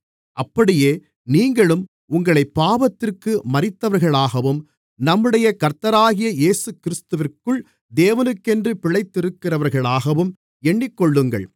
அப்படியே நீங்களும் உங்களைப் பாவத்திற்கு மரித்தவர்களாகவும் நம்முடைய கர்த்தராகிய இயேசுகிறிஸ்துவிற்குள் தேவனுக்கென்று பிழைத்திருக்கிறவர்களாகவும் எண்ணிக்கொள்ளுங்கள்